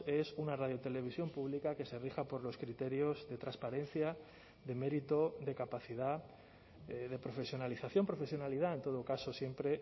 es una radiotelevisión pública que se rija por los criterios de transparencia de mérito de capacidad de profesionalización profesionalidad en todo caso siempre